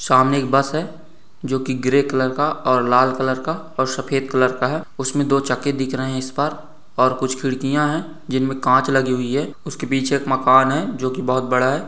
सामने एक बस है जो की ग्रे कलर का और लाल कलर का और सफेद कलर का है उसमें दो चक्के दिख रहे हैं इस पर और कुछ खिड़कियां हैं जिनमें कांच लगी हुई है उसके पीछे एक मकान है जो की बहुत बड़ा है।